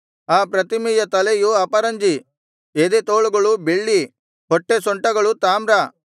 ಆ ಪ್ರತಿಮೆಯ ತಲೆಯು ಅಪರಂಜಿ ಎದೆತೋಳುಗಳು ಬೆಳ್ಳಿ ಹೊಟ್ಟೆಸೊಂಟಗಳು ತಾಮ್ರ